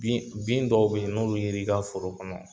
Bin bin dɔw bɛ ye n'olu yer'i ka foro kɔnɔ